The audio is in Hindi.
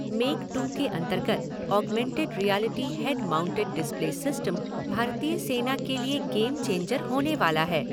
मेक टू के अंतर्गत augmented reality head mounted display system भारतीय सेना के लिए गेम चेंजर होने वाला है।